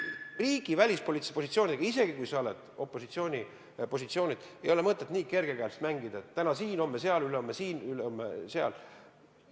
Riigi välispoliitilise positsiooniga, isegi kui sa oled opositsiooni positsioonil, ei ole mõtet nii kerge käega mängida, et täna siin, homme seal, ülehomme siin, üleülehomme seal.